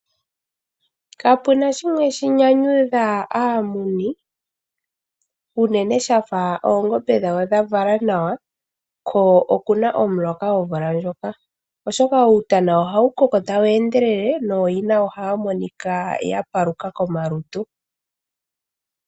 Kapuna shimwe shi nyanyudha aamuni unene shafa oongombe dhawo dha vala nawa ko okuna omuloka omvula ndjoka, oshoka uutana ohawu koko ta wu endelele nooyina ohaya monika ya paluka komalutu.